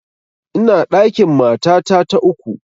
Ina ɗakin matata ta uku